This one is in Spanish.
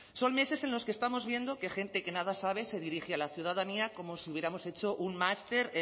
son meses en los que estamos viendo que gente que nada sabe se dirige a la ciudadanía como si hubiéramos hecho un master